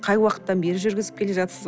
қай уақыттан бері жүргізіп келе жатырсыз